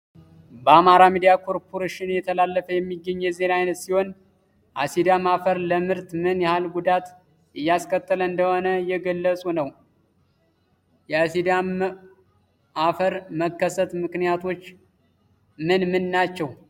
በአማራ ሚድያ ኮርፖሬሽን እየተላለፈ የሚገኝ የዜና አይነት ሲሆን የአሲዳም አፈር ለምርት ምን ያህል ጉዳት እያስከተለ እንደሆነ እየገለጹ ነው። የአሲዳም መፈር መከሰት ምክንያቶች ምን ምን ናቸው?